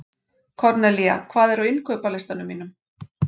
Kornelía, hvað er á innkaupalistanum mínum?